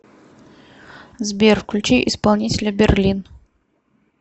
сбер включи исполнителя берлин